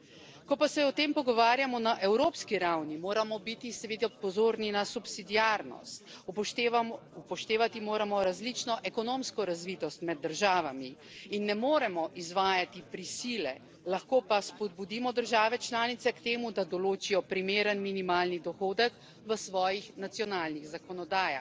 Ko pa se o tem pogovarjamo na evropski ravni, moramo biti seveda pozorni na subsidiarnost, upoštevati moramo različno ekonomsko razvitost med državami in ne moremo izvajati prisile, lahko pa spodbudimo države članice k temu, da določijo primeren minimalni dohodek v svojih nacionalnih zakonodajah.